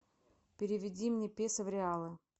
переведи мне песо в реалы